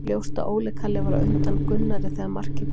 Ljóst að Óli Kalli var á undan Gunnari þegar markið kom.